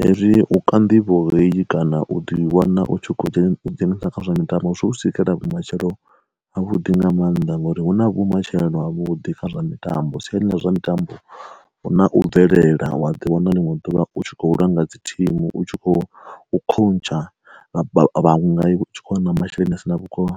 Hezwi u ka nḓivho heyi kana u ḓo i wana u tshi kho ḓi dzhenisa kha zwa mitambo, zwi u sikela vhu matshelo ha vhuḓi nga mannḓa ngauri hu na vhu matshelo avhuḓi kha zwa mitambo siyani ḽa zwa mitambo hu na u bvelela wa ḓi wana linwe duvha u tshi kho langa dzi thimu u tshi khou khontsha vhaṅwe nga iwe u tshi kho wana masheleni a si na vhukono.